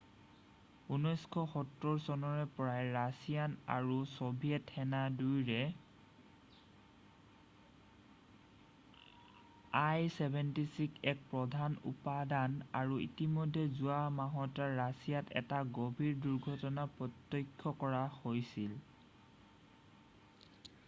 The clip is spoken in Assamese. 1970 চনৰে পৰাই ৰাছিয়ান আৰু ছ'ভিয়েট সেনা দুয়োৰে il-76 এক প্ৰধান উপাদান আৰু ইতিমধ্যেই যোৱা মাহত ৰাছিয়াত এটা গম্ভীৰ দূৰ্ঘটনা প্ৰ্ত্যক্ষ কৰা গৈছিল